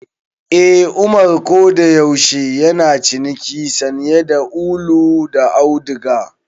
Eh, Umar kodayaushe yana ciniki sanye da ulu da auduga.